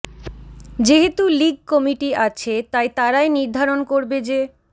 যেহেতু league committee আছে তাই তারাই নির্ধারণ করবে যে